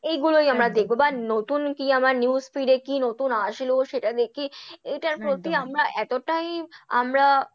এইগুলোই আমরা দেখবো but নতুন কি আমার news feed এ কি নতুন আসলো সেটা দেখে এটার প্রতি আমরা এতটাই আমরা